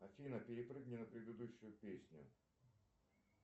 афина перепрыгни на предыдущую песню